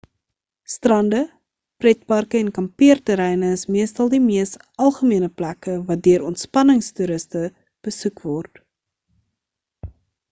strande pretparke en kampeerterreine is meestal die mees algemene plekke wat deur ontspanningstoeriste besoek word